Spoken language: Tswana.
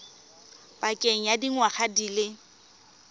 pakeng ya dingwaga di le